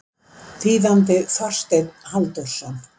Þýðandi Þorsteinn Halldórsson.